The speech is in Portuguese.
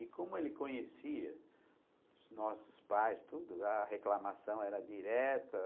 E como ele conhecia os nossos pais tudo, a reclamação era direta.